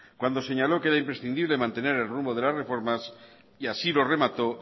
cuando señaló que era imprescindible mantener el rumbo de las reformas y así lo remató